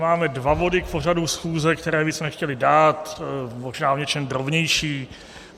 Máme dva body k pořadu schůze, které bychom chtěli dát, možná v něčem drobnější.